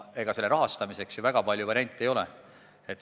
Ega selle rahastamiseks ju väga palju variante ei ole.